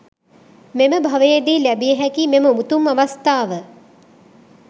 මෙම භවයේදී ලැබිය හැකි මෙම උතුම් අවස්ථාව,